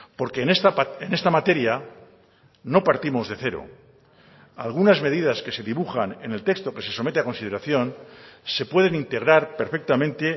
porque en esta materia no partimos de cero algunas medidas que se dibujan en el texto que se somete a consideración se pueden integrar perfectamente